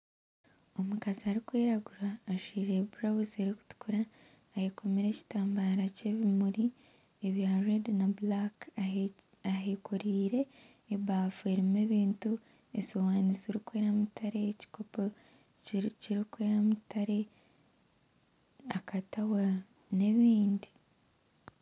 Omukazi arikwiragura ajwire burawuzi erikutukura, atekomire ekitambara ky'ebimuri ebya rwedi na bulaka ahekorire ebaafu erimu ebintu esiwani zirikwera mutare ekikopo ekirikwera mutare akatawa nebindi